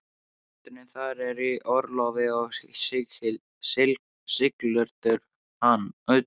Presturinn þar er í orlofi og sigldur utan.